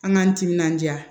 An k'an timinanja